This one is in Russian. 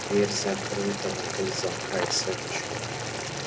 дверь закрыта на три замка и цепочку